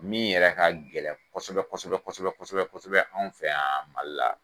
Min yɛrɛ ka gɛlɛn kosɔbɛ kosɔbɛ kosɔbɛ kosɔbɛ anw fɛ yan Mali la